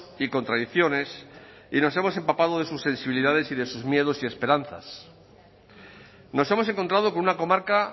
y contradicciones y nos hemos empapado de sus sensibilidades y de sus miedos y esperanzas nos hemos encontrado con una comarca